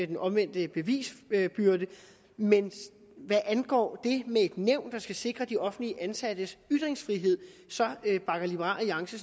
den omvendte bevisbyrde men hvad angår det med et nævn der skal sikre de offentligt ansattes ytringsfrihed bakker liberal alliance